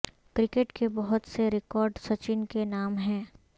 cricket کے بہت سے ریکارڈ سچن کے نام ہیں